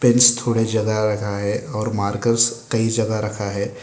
Pens थोड़े जगह रखा है और मार्कर्स कई जगह रखा है।